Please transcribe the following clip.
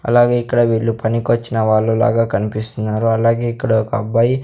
అలాగే ఇక్కడ వీళ్ళు పనికొచ్చిన వాళ్ళు లాగా కనిపిస్తున్నారు అలాగే ఇక్కడ ఒక అబ్బాయి--